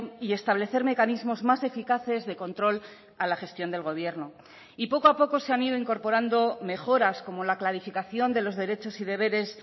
y establecer mecanismos más eficaces de control a la gestión del gobierno y poco a poco se han ido incorporando mejoras como la clarificación de los derechos y deberes